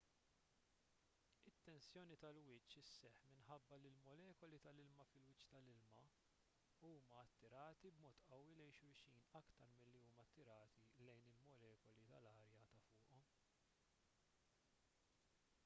it-tensjoni tal-wiċċ isseħħ minħabba li l-molekuli tal-ilma fil-wiċċ tal-ilma huma attirati b'mod qawwi lejn xulxin aktar milli huma attirati lejn il-molekuli tal-arja ta' fuqhom